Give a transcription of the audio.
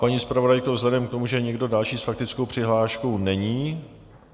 Paní zpravodajko, vzhledem k tomu, že nikdo další s faktickou přihláškou není...